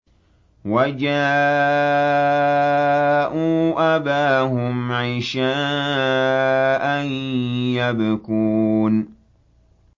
وَجَاءُوا أَبَاهُمْ عِشَاءً يَبْكُونَ